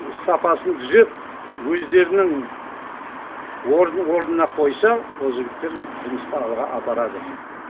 сапасын дүзеп өздерінің орын орнына қойса ол жігіттер жұмысты алға апарады